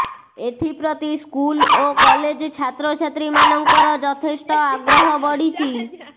ଏଥି ପ୍ରତି ସ୍କୁଲ୍ ଓ କଲେଜ୍ ଛାତ୍ରଛାତ୍ରୀ ମାନଙ୍କର ଯଥେଷ୍ଟ ଆଗ୍ରହ ବଢ଼ିଛି